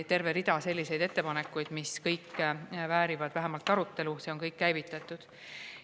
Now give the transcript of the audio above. Terve rida selliseid ettepanekuid, mis kõik väärivad vähemalt arutelu, on.